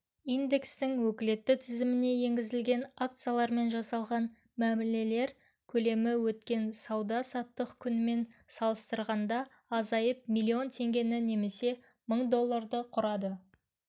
индекстің өкілетті тізіміне енгізілген акциялармен жасалған мәмілелер көлемі өткен сауда-саттық күнімен салыстырғанда азайып миллион теңгені немесе мың долларды құрады